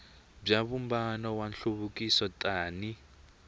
bya vumbano wa nhluvukiso tani